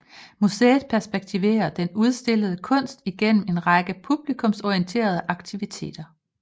Museet perspektiverer den udstillede kunst igennem en række publikumsorienterede aktiviteter